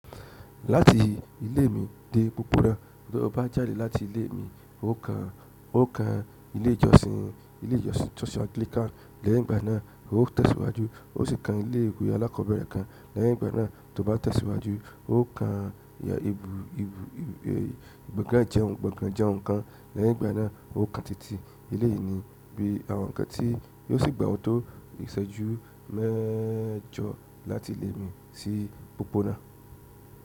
Láti ilé mi dé pópónà, bí mo bá jàde láti ilé mi, n o kan ilé ìjọsìn Anglican lẹ́yìn ìgbà náà, mo ó tẹ̀síwájú ó sì ka ilé ìwé alákọ̀ọ́bẹ̀rẹ̀ kan lẹ́yìn ìgbà náà, tó bá tẹ̀síwájú n o kan gbọ̀ngàn jẹun kan lẹ́yìn ìgbà náà, n o kan títí eleyi ní bí àwọn ǹkan tí yóò sì gbà wọn tó ìṣẹ́jú mẹ́jọ láti ilé mi sí pópónà.